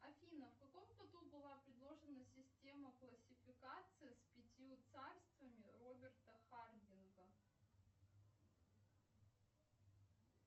афина в каком году была предложена система классификации с пятью царствами роберта хардинга